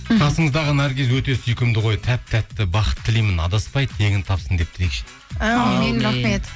қасыңыздағы наргиз өте сүйкімді ғой тәп тәтті бақыт тілеймін адаспай теңін тапсын деп тілейікші әумин рахмет